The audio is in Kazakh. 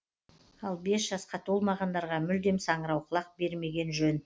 ал бес жасқа толмағандарға мүлдем саңырауқұлақ бермеген жөн